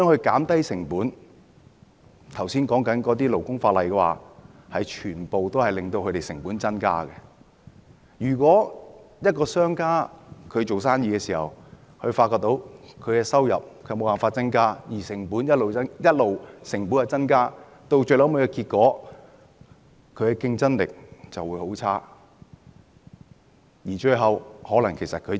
剛才提到的勞工法例全都會增加成本，如果一個商家經營生意時發現無法增加收入，但成本卻上升，結果會是他公司的競爭力變差，最後可能要結業。